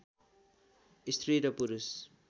स्त्री र पुरुष